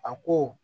A ko